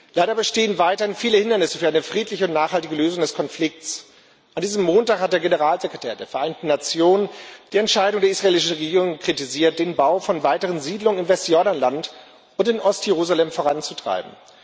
Leider bestehen weiterhin viele Hindernisse für eine friedliche und nachhaltige Lösung des Konflikts. An diesem Montag hat der Generalsekretär der Vereinten Nationen die Entscheidung der israelischen Regierung kritisiert, den Bau von weiteren Siedlungen im Westjordanland und in Ostjerusalem voranzutreiben.